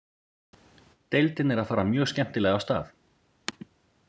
Deildin er að fara mjög skemmtilega af stað.